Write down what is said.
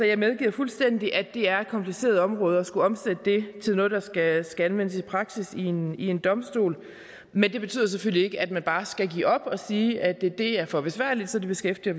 jeg medgiver fuldstændig at det er et kompliceret område at skulle omsætte det til noget der skal anvendes i praksis ved en en domstol men det betyder selvfølgelig ikke at man bare skal give op og sige at det er for besværligt så det beskæftiger